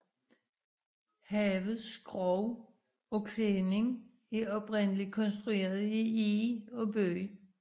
Havets skrog og klædning er oprindelig konstrueret i eg og bøg